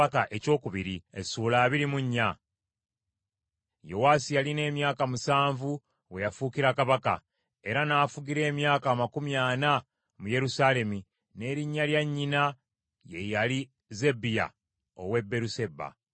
Yowaasi yalina emyaka musanvu we yafuukira kabaka, era n’afugira emyaka amakumi ana mu Yerusaalemi n’erinnya lya nnyina ye yali Zebbiya ow’e Beeruseba.